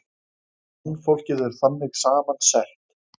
Mannfólkið er þannig saman sett.